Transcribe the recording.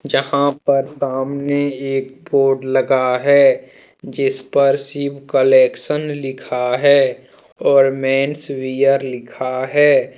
जहां पर सामने एक बोर्ड लगा है। जिसपर शिव कलेक्शन लिखा है और मैंस वियर लिखा है।